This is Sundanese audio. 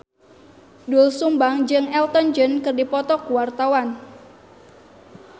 Doel Sumbang jeung Elton John keur dipoto ku wartawan